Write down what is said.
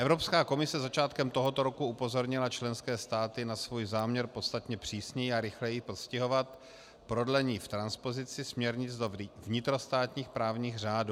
Evropská komise začátkem tohoto roku upozornila členské státy na svůj záměr podstatně přísněji a rychleji postihovat prodlení v transpozici směrnic do vnitrostátních právních řádů.